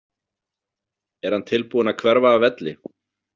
Er hann tilbúinn að hverfa af velli?